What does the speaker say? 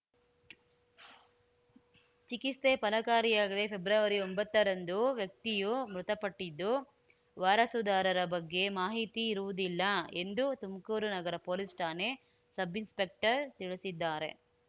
ಚಿಕಿತ್ಸೆ ಫಲಕಾರಿಯಾಗದೆ ಫೆಬ್ರವರಿಒಂಬತ್ತ ರಂದು ವ್ಯಕ್ತಿಯು ಮೃತಪಟ್ಟಿದ್ದು ವಾರಸುದಾರರ ಬಗ್ಗೆ ಮಾಹಿತಿ ಇರುವುದಿಲ್ಲ ಎಂದು ತುಮಕೂರು ನಗರ ಪೊಲೀಸ್‌ ಠಾಣೆ ಸಬ್‌ ಇನ್ಸ್‌ಪೆಕ್ಟರ್‌ ತಿಳಿಸಿದ್ದಾರೆ